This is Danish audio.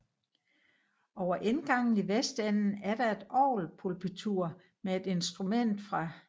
Over indgangen i vestenden er der et orgelpulpitur med et instrument fra I